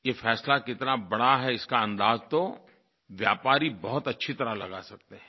ये फैसला कितना बड़ा है इसका अंदाज़ तो व्यापारी बहुत अच्छी तरह लगा सकते हैं